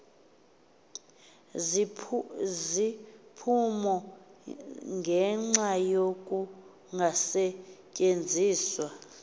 iziphumo ngenxa yokungasetyenziswa